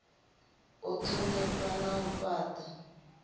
u thonifha na u fhata